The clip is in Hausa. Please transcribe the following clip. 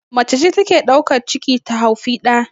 Macece take daukan ciki ta haufi ɗa